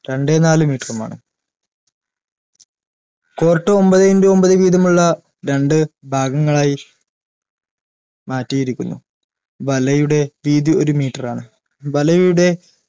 രണ്ടേ നാല് meter ഉമാണ് court ഒമ്പത് in to ഒമ്പത് വീതമുള്ള രണ്ട് ഭാഗങ്ങളായി മാറ്റിയിരിക്കുന്നു വലയുടെ വീതി ഒരു meter ആണ്